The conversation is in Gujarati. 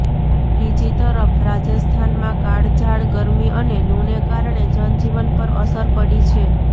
બીજી તરફ રાજસ્થાનમાં કાળઝાળ ગરમી અને લૂને કારણે જનજીવન પર અસર પડી છે